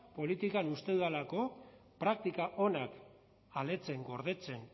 politikan uste dudalako praktika onak aletzen gordetzen